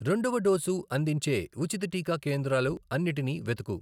రెండవ డోసు అందించే ఉచిత టీకా కేంద్రాలు అన్నిటినీ వెతుకు.